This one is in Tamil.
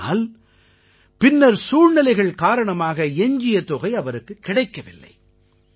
ஆனால் பின்னர் சூழ்நிலைகள் காரணமாக எஞ்சிய தொகை அவருக்குக் கிடைக்கவில்லை